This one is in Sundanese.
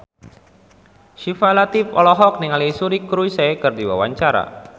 Syifa Latief olohok ningali Suri Cruise keur diwawancara